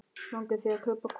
Langar þig að kaupa hvolp?